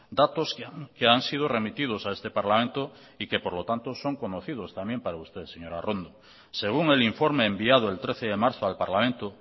datos que han sido remitidos a este parlamento y que por lo tanto son conocidos también para usted señora arrondo según el informe enviado el trece de marzo al parlamento